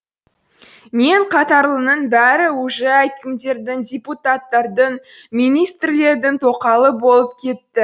мен қатарлының бәрі уже әкімдердің депутаттардың министрлердің тоқалы болып кетті